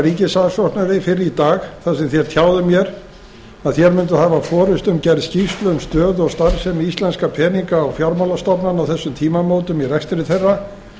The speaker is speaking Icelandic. ríkissaksóknari fyrr í dag þar sem þér tjáðuð mér að þér munduð hafa forustu um gerð skýrslu um stöðu og starfsemi íslenskra peninga og fjármálastofnana á þessum tímamótum í rekstri þeirra